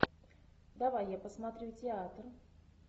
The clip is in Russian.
давай я посмотрю театр